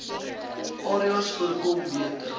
areas voorkom beter